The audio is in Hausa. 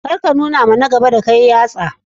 Kar ka nunawa na gaba da kai yatsa.